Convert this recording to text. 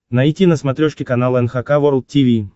найти на смотрешке канал эн эйч кей волд ти ви